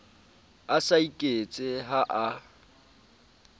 a sa iketse ha a